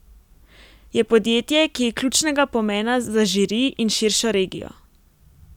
Je podjetje, ki je ključnega pomena za Žiri in širšo regijo.